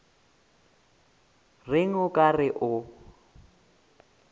reng o ka re o